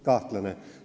Kahtlane.